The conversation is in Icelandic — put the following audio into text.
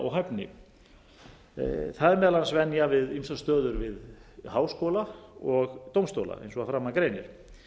og hæfni það meðal annars venjan við stöður við háskóla og dómstóla eins og að framan greinir